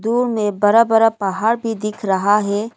दूर में बड़ा बड़ा पहाड़ भी दिख रहा है।